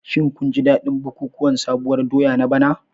Shin kun ji dadin bukukuwan sabuwar doya na bana?